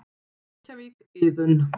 Reykjavík, Iðunn.